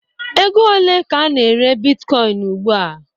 Ego ole ka a na-ere bitkọin ugba?